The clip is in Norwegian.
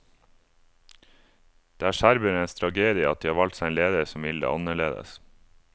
Det er serbernes tragedie at de har valgt seg en leder som vil det annerledes.